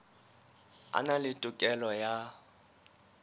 a na le tokelo ya